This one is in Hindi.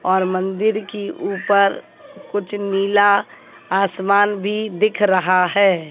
और मंदिर की ऊपर कुछ नीला आसमान भी दिख रहा है।